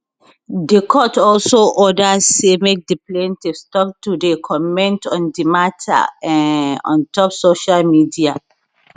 di court also order say make di plaintiff stop to dey comment on di mata um on top social media